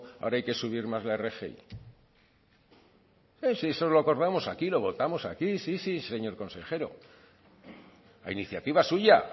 ahora hay que subir más la rgi si eso lo acordamos aquí lo votamos aquí sí sí señor consejero a iniciativa suya